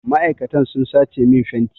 Ma'aikatan sun sace min fenti.